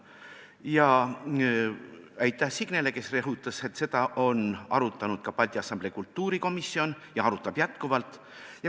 Ja aitäh Signele, kes rõhutas, et seda on arutanud ka Balti Assamblee kultuurikomisjon ja arutab edaspidigi!